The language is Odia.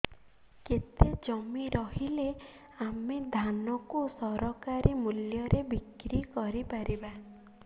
କେତେ ଜମି ରହିଲେ ଆମେ ଧାନ କୁ ସରକାରୀ ମୂଲ୍ଯରେ ବିକ୍ରି କରିପାରିବା